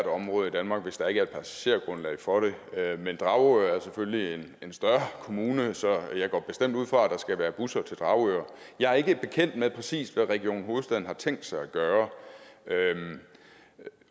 område i danmark hvis der ikke er et passagergrundlag for det men dragør er selvfølgelig en større kommune så jeg går bestemt ud fra at der skal være busser til dragør jeg er ikke bekendt med præcis hvad region hovedstaden har tænkt sig at gøre